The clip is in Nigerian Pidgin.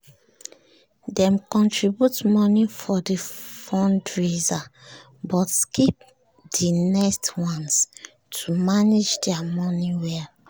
dem contribute money for the fundraiser but skip the next ones to manage their money well